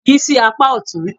Yí sí apá ọ̀tún.